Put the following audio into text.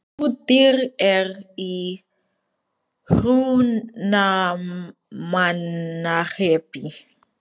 Flúðir er í Hrunamannahreppi.